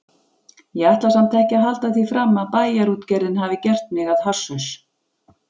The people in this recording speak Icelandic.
Ég ætla samt ekki að halda því fram að Bæjarútgerðin hafi gert mig að hasshaus.